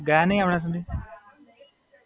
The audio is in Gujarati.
ગયા નહીં હમણાં સુધી?